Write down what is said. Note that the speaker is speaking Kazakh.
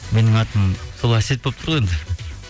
менің атым сол әсет болып тұр ғой енді